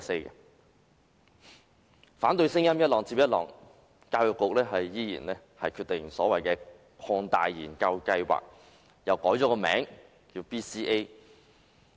儘管反對聲音浪接浪，教育局仍堅持推出所謂的擴大研究計劃，並將之易名為 BCA。